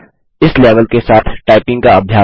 इस लेवल के साथ टाइपिंग का अभ्यास करें